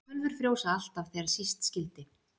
Tölvur frjósa alltaf þegar síst skyldi.